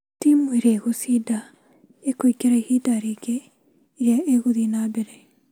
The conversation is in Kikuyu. Timu ĩria ĩgũcinda ĩkũingira ĩbinda ringĩ ĩria ĩgũthii na mbere